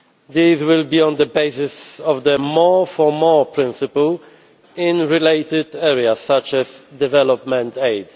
These will be on the basis of the more for more' principle in related areas such as development aid.